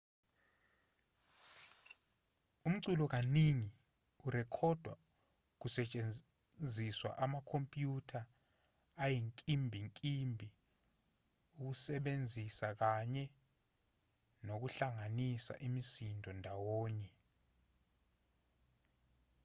umculo kaningi urekhodwa kusetshenziswa amakhompyutha ayinkimbinkimbi ukusebenzisa kanye nokuhlanganisa imisindo ndawonye